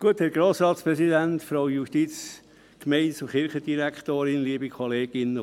Ich möchte Ihnen gleichwohl kurz etwas in Erinnerung rufen.